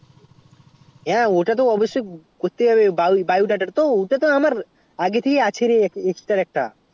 হ্যাঁ ওটা তো অবশ্যই করতে হবে bio data তো আমার আগে থেকেই আছে রে exterior আছে রে